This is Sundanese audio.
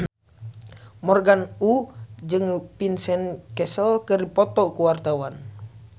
Morgan Oey jeung Vincent Cassel keur dipoto ku wartawan